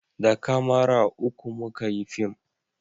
da kamara uku muka yi fim